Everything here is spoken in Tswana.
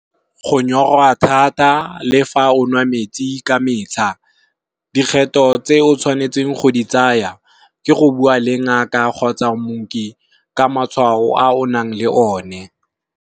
Go nyorwa thata le fa o nwa metsi ka metlha, dikgetho tse o tshwanetseng go di tsaya, ke go bua le ngaka kgotsa mooki ka matshwao a o nang le o ne.